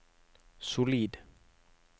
solid